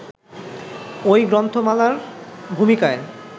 ওই গ্রন্থমালার ভূমিকায়